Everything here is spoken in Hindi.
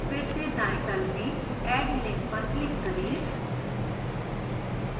फिर से दाएं तल में add link पर click करें